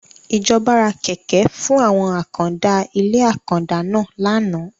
Ìjọba ra Kẹ̀kẹ́ fún àwọn àkàndá ilé àkàndá náà láánaà.